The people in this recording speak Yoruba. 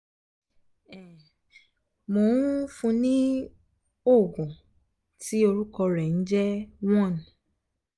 um mò um n fún un ní òògùn tí orúkọ rẹ̀ ń jẹ́ one